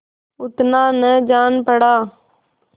उतना न जान पड़ा